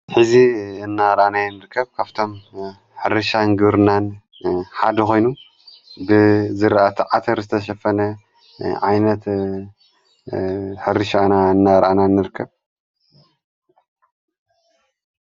ሕዚ እናርኣናይ ንርከብ ካብቶም ሕሪሻንግርናን ሓድ ኾይኑ ብዝረተዓትር ዝተሸፈነ ዓይነት ሕሪሻና እናርኣና እንርከብ።